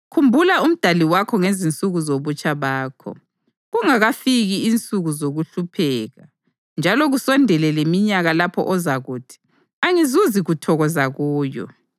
Khumbula uMdali wakho ngezinsuku zobutsha bakho, kungakafiki insuku zokuhlupheka njalo kusondele leminyaka lapho ozakuthi, “Angizuzi kuthokoza kuyo”